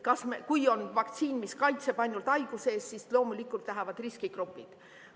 Kui on vaktsiin, mis kaitseb ainult haiguse eest, siis loomulikult tahavad seda riskigrupid.